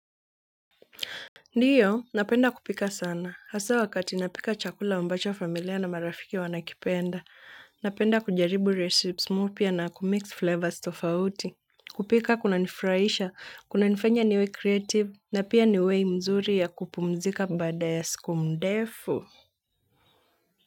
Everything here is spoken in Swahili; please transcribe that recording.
Ndiyo, napenda kupika sana. Hasa wakati napika chakula ambacho familia na marafiki wanakipenda. Napenda kujaribu recipes mpya na kumix flavors tofauti. Kupika kuna nifurahisha, kuna nifanya niwe creative, na pia niwe mzuri ya kupumzika baada ya siku ndefu.